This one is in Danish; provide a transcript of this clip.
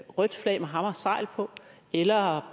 rødt flag med hammer og segl på eller